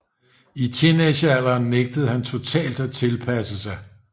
I teenagealderen nægtede han totalt at tilpasse sig